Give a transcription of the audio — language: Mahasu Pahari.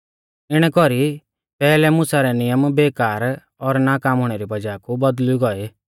इणै कौरी पैहलै मुसा रै नियम बेकार और नाकाम हुणै री वज़ाह कु बौदल़ुई गोई